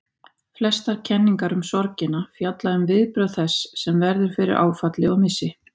Flestar kenningar um sorgina fjalla um viðbrögð þess sem verður fyrir áfalli og missi.